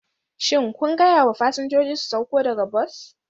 Shin kun gaya wa fasinjoji su sauko daga bas?